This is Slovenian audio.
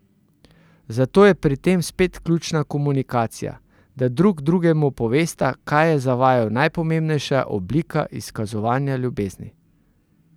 Zato je pri tem spet ključna komunikacija, da drug drugemu povesta, kaj je za vaju najpomembnejša oblika izkazovanja ljubezni.